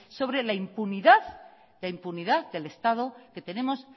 sobre la impunidad del estado que tenemos